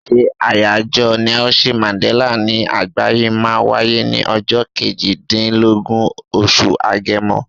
Ṣé àyájọ́ Nelson Mandella ní àgbáyé máa wáyé ní ọjọ́ kejì dín lógún, oṣù Agẹmọ.